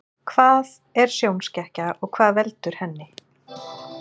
Hvað er sjónskekkja og hvað veldur henni?